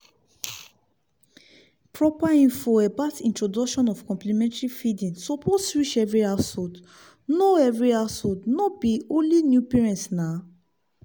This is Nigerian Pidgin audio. proper info about introduction of complementary feeding suppose reach every householdno every householdno be only new parents naw